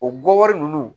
O gɔbɔri nunnu